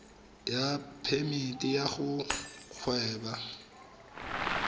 ya phemiti ya go gweba